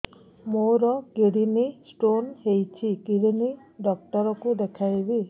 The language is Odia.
ମୋର କିଡନୀ ସ୍ଟୋନ୍ ହେଇଛି କିଡନୀ ଡକ୍ଟର କୁ ଦେଖାଇବି